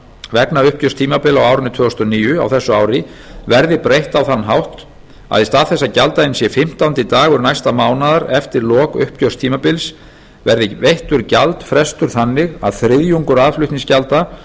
vegna uppgjörstímabila á árinu tvö þúsund og níu á þessu ári verði breytt á þann hátt að í stað þess að gjalddaginn sé fimmtándi dagur næsta mánaðar eftir lok uppgjörstímabils verði veittur gjaldfrestur þannig að þriðjungur aðflutningsgjalda fyrir